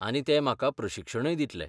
आनी ते म्हाका प्रशिक्षणय दितले.